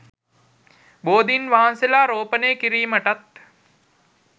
බෝධීන් වහන්සේලා රෝපණය කිරීමටත්